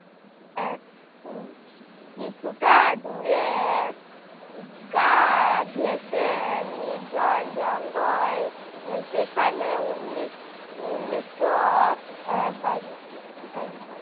আহ উহ কিছুটা দূরে গা ঘেঁষে নির্জন জঙ্গল, আহ সেখানে উন্নিশ উন্নিশশো আহ